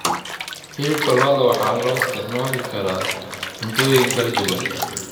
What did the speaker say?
Hilibka lo'da waxaa loo isticmaali karaa cuntooyin kala duwan.